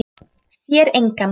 Sér engan.